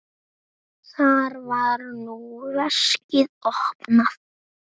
Þar var nú veskið opnað.